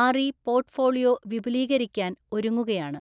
RE portfolio വിപുലീകരിക്കാൻ ഒരുങ്ങുകയാണ്.